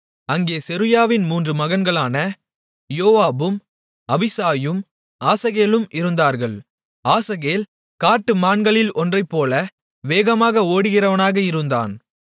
அங்கே செருயாவின் மூன்று மகன்களான யோவாபும் அபிசாயும் ஆசகேலும் இருந்தார்கள் ஆசகேல் காட்டுமான்களில் ஒன்றைப்போல வேகமாக ஓடுகிறவனாக இருந்தான்